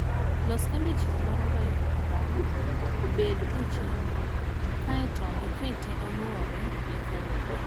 Los odiechieng' mar goyo abal obed e chenro kae to ikete onwore e kalenda.